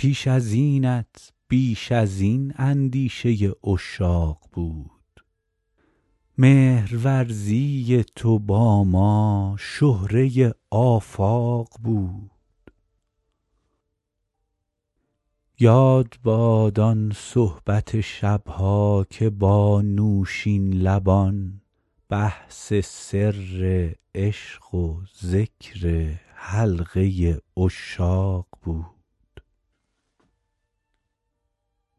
پیش از اینت بیش از این اندیشه عشاق بود مهرورزی تو با ما شهره آفاق بود یاد باد آن صحبت شب ها که با نوشین لبان بحث سر عشق و ذکر حلقه عشاق بود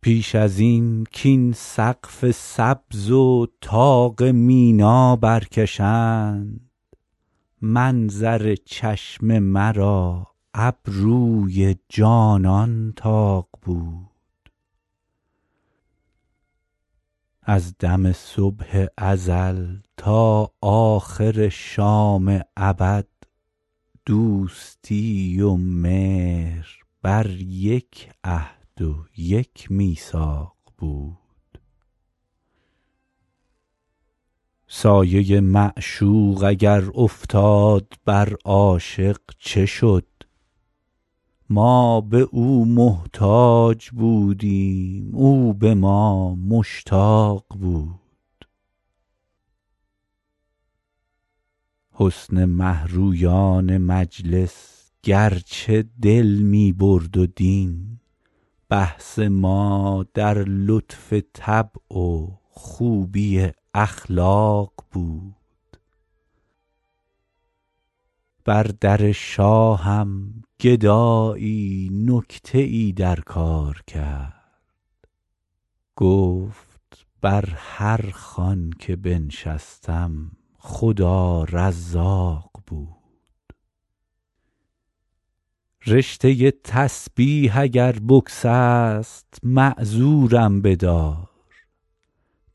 پیش از این کاین سقف سبز و طاق مینا برکشند منظر چشم مرا ابروی جانان طاق بود از دم صبح ازل تا آخر شام ابد دوستی و مهر بر یک عهد و یک میثاق بود سایه معشوق اگر افتاد بر عاشق چه شد ما به او محتاج بودیم او به ما مشتاق بود حسن مه رویان مجلس گرچه دل می برد و دین بحث ما در لطف طبع و خوبی اخلاق بود بر در شاهم گدایی نکته ای در کار کرد گفت بر هر خوان که بنشستم خدا رزاق بود رشته تسبیح اگر بگسست معذورم بدار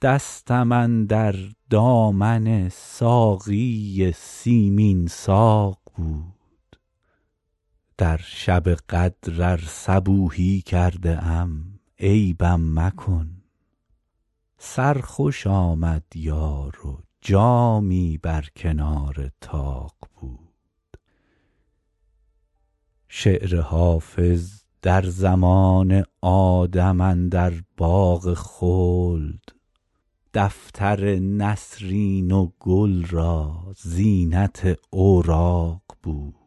دستم اندر دامن ساقی سیمین ساق بود در شب قدر ار صبوحی کرده ام عیبم مکن سرخوش آمد یار و جامی بر کنار طاق بود شعر حافظ در زمان آدم اندر باغ خلد دفتر نسرین و گل را زینت اوراق بود